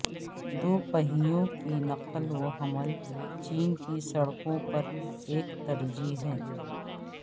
دو پہیوں کی نقل و حمل چین کی سڑکوں پر ایک ترجیح ہے